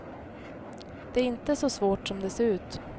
Det är inte så svårt som det ser ut.